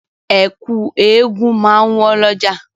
Ẹ̀kú eégun máa wọ́n lọ́jà.